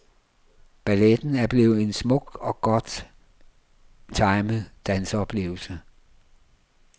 Balletten er blevet en smuk og godt timet danseoplevelse.